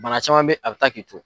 Mara caman bɛ a bɛ taa k'i to.